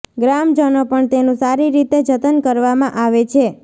ગ્રામજનો પણ તેનું સારી રીતે જતન કરવામાં આવે છે